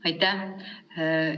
Aitäh!